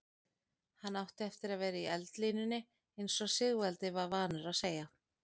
Hann átti eftir að vera í eldlínunni eins og Sigvaldi var vanur að segja.